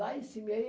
Lá em cima. Aí